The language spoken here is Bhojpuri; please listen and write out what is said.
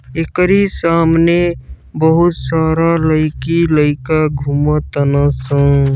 एकरी सामने बहुत सारा लइकी लइका घूमतन सन।